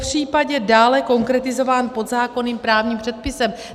Popřípadě dále konkretizován pod zákonným právním předpisem.